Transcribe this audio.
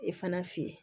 E fana fe yen